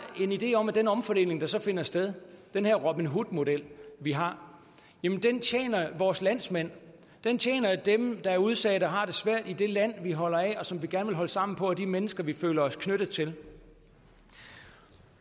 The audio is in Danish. en idé om at den omfordeling der så finder sted den her robin hood model vi har tjener vores landsmænd den tjener dem der er udsat og har det svært i det land vi holder af og som vi gerne vil holde sammen på og de mennesker vi føler os knyttet til